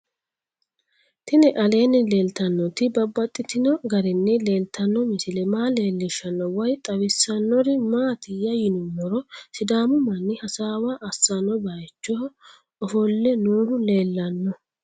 Tinni aleenni leelittannotti babaxxittinno garinni leelittanno misile maa leelishshanno woy xawisannori maattiya yinummoro sidaamu manni hasaawa asanno bayiichcho offolle noohu leelanno